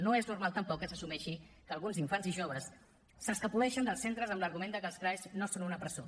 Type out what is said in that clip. no és normal tampoc que s’assumeixi que alguns infants i joves s’escapoleixin dels centres amb l’argument que els crae no són una presó